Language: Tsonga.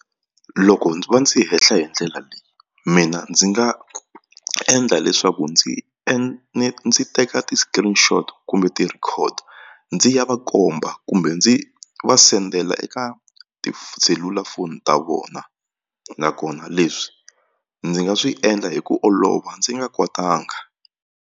Loko ndzi va ndzi hi ndlela leyi mina ndzi nga endla leswaku ndzi ndzi teka ti-screenshot kumbe ti-record ndzi ya va komba komba kumbe ndzi va sendela eka tiselulafoni ta vona nakona leswi ndzi nga swi endla hi ku olova ndzi nga kwatanga.